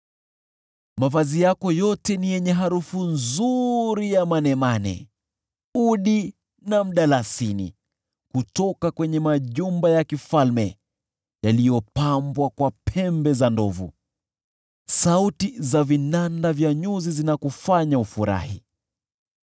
Mavazi yako yote yana harufu nzuri ya manemane, udi na mdalasini; kutoka kwenye majumba ya kifalme yaliyopambwa kwa pembe za ndovu, sauti za vinanda vya nyuzi zinakufanya ufurahi.